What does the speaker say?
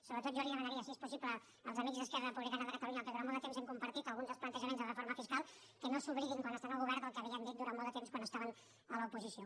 sobretot jo demanaria si és possible als amics d’esquerra republicana de catalunya amb qui durant molt de temps hem compartit alguns dels plantejaments de reforma fiscal que no s’oblidin quan estan al govern del que havien dit durant molt de temps quan estaven a l’oposició